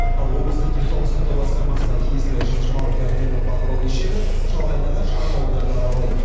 ал облыстық денсаулық сақтау басқармасына тиесілі жылжыламы дәрігерлік бақылау кешені шалғайдағы шағын ауылдарды аралайды